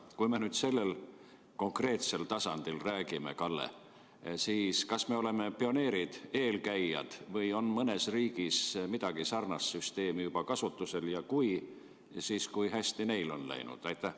Kui me sellest konkreetsest tasandist räägime, Kalle, siis kas me oleme pioneerid, eelkäijad, või on mõnes riigis mingi sarnane süsteem juba kasutusel, ja kui on, siis kui hästi neil on läinud?